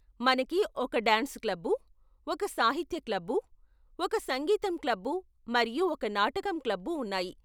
మనకి ఒక dance club, ఓక సాహిత్య క్లబ్బు, ఒక సంగీతం క్లబ్బు, మరియు ఒక నాటకం క్లబ్బు ఉన్నాయి.